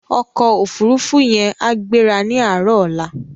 Òkò ófúrúfú yèn á gbérá ni àárò òlá